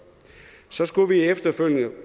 så skulle vi efterfølgende